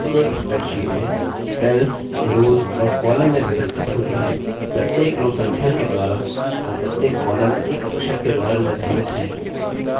प्रत्येक spreadsheet में cells rows और columns में व्यवस्थित होती हैं प्रत्येक rows संख्या के द्वारा और प्रत्येक columns एक अक्षर के द्वारा निर्धारित है